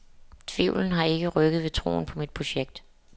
Tvivlen har ikke rykket ved troen på mit projekt.